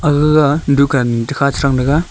aga ga dukan takha chetang taga.